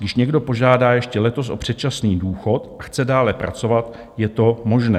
Když někdo požádá ještě letos o předčasný důchod a chce dále pracovat, je to možné.